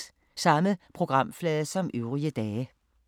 Samme programflade som øvrige dage